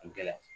Gɛlɛya